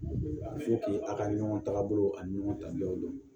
A ko k'i a ka ɲɔgɔn tagabolo ani ɲɔgɔn ta don